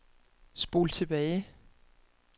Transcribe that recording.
spol tilbage